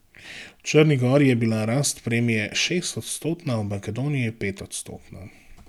V Črni gori je bila rast premije šestodstotna, v Makedoniji petodstotna.